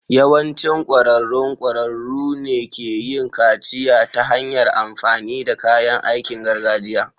Yawancin ƙwararrun ƙwararru ne ke yin kaciya ta hanyar amfani da kayan aikin gargajiya.